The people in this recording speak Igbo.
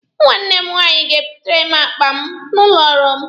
Nwanne m nwaanyị ga-ebutere m akpa m n'ụlọ ọrụ m.